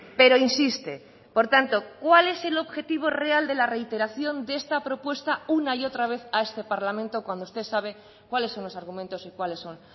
pero insiste por tanto cuál es el objetivo real de la reiteración de esta propuesta una y otra vez a este parlamento cuando usted sabe cuáles son los argumentos y cuáles son